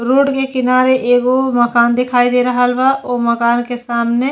road के किनार एगो माकन दिखाई दे रहल बा वो माकन के सामने --